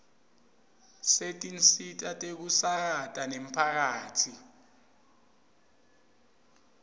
setinsita tekusakata temphakatsi